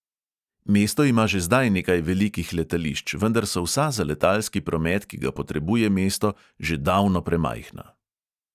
Mesto ima že zdaj nekaj velikih letališč, vendar so vsa za letalski promet, ki ga potrebuje mesto, že davno premajhna.